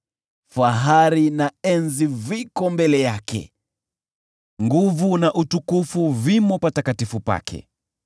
Fahari na enzi viko mbele yake; nguvu na utukufu vimo patakatifu pake.